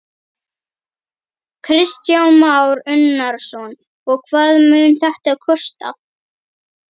Kristján Már Unnarsson: Og hvað mun þetta kosta?